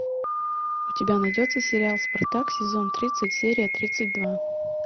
у тебя найдется сериал спартак сезон тридцать серия тридцать два